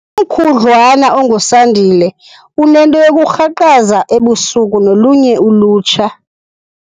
Umkhudlwana onguSandile unento yokurhaqaza ebusuku nolunye ulutsha.